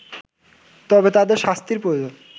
তবে তাদের শাস্তির প্রয়োজন